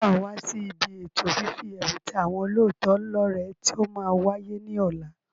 Ṣé waa wá sí ibi ètò fífi ẹ̀bùn ta àwọn olóòótọ́ lọ rẹ tí ó máa wáyé ní ọ̀la?